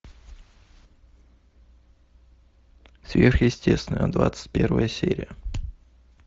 сверхъестественное двадцать первая серия